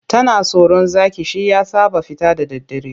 Tana tsoron zaki shi ya sa ba ta fita da daddare.